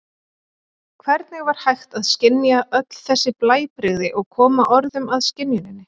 Hvernig var hægt að skynja öll þessi blæbrigði og koma orðum að skynjuninni?